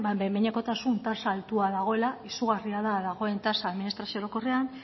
ba behin behinekotasun tasa altua dagoela izugarria da dagoen tasa administrazio orokorrean